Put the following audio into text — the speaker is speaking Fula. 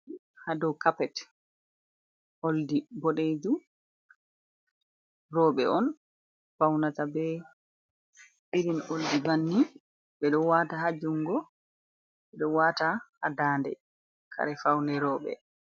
Ha dou kapet oldi boɗejum. Roɓe on faunata be irin oldi bannin ɓe ɗo wata ha jungo ɓe ɗo wata ha dande kare faune roɓe.